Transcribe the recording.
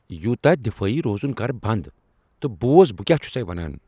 یوتاہ دفٲیی روزُن کر بند تہٕ بوز بہٕ کیا چُھسیہ ونان ۔